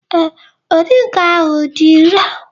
Ee, moringa ahụ dị irè.